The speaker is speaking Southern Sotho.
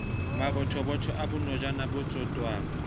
mabothobotho a bonojana bo tsotwang